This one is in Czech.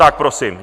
Tak prosím.